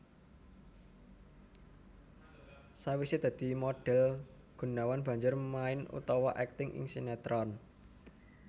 Sawisé dadi modhél Gunawan banjur main utawa akting ing sinetron